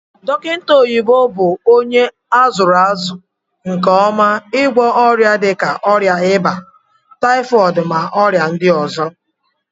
Dokita oyibo bu onye azuru azu nke oma igwo oria dika oria iba, typhooid na oria ndi ozo.